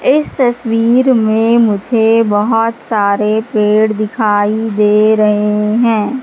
इस तस्वीर में मुझे बहुत सारे पेड़ दिखाई दे रहे हैं।